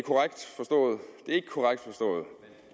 er ikke korrekt forstået